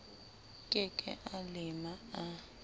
ke ke a lema a